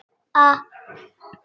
En bara þetta eina sinn.